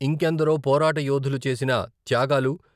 ఇంకెందరో పోరాట యోధులు చేసిన త్యాగాలు.